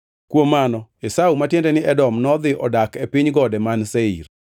Kuom mano Esau (ma tiende ni Edom) nodhi odak e piny gode man Seir.